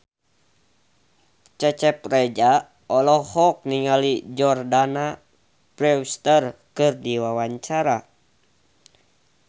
Cecep Reza olohok ningali Jordana Brewster keur diwawancara